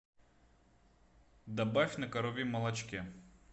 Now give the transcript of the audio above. добавь на коровьем молочке